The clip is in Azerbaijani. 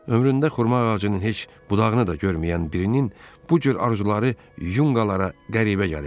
Ömründə xurma ağacının heç budağını da görməyən birinin bu cür arzuları yunqalara qəribə gəlirdi.